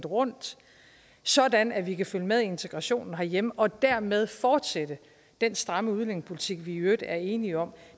rundt sådan at vi kan følge med i integrationen herhjemme og dermed fortsætte den stramme udlændingepolitik vi i øvrigt er enige om